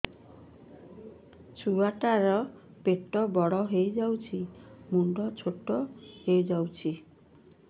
ଛୁଆ ଟା ର ପେଟ ବଡ ହେଇଯାଉଛି ମୁଣ୍ଡ ଛୋଟ ହେଇଯାଉଛି